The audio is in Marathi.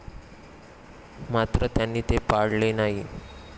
मात्र त्यांनी ते पाळले नाही.